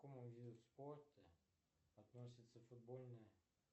к какому виду спорта относится футбольная